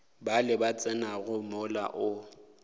bale ba tsenago mola o